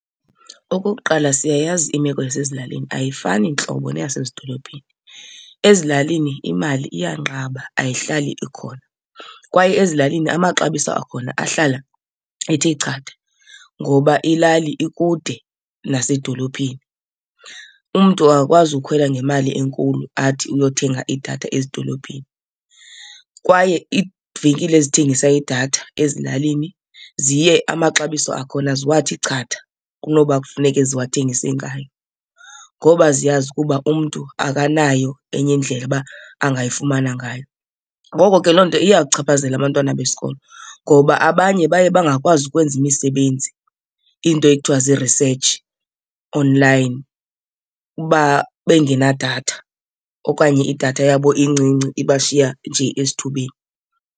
Okokuqala siyayazi imeko yasezilalini ayifani ntlobo neyasezidolophini. Ezilalini imali iyanqaba, ayihlali ikhona kwaye ezilalini amaxabiso akhona ahlala ethe chatha ngoba ilali ikude nasedolophini. Umntu akakwazi ukhwela ngemali enkulu athi uyothenga idatha ezidolophini kwaye iivenkile ezithengisa idatha ezilalini ziye amaxabiso akhona ziwathi chatha kunoba kufuneke ziwathengise ngayo ngoba ziyazi ukuba umntu akanayo enye indlela uba angayifumana ngayo. Ngoko ke loo nto iyawuchaphazela abantwana besikolo ngoba abanye baye bangakwazi ukwenza imisebenzi, iinto ekuthiwa zii-research online, uba bengena datha okanye idatha yabo incinci iba shiya nje esithubeni.